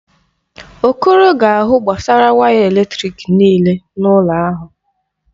Okoro ga-ahụ gbasara waya eletrịk nịịle n'ụlọ ahụ.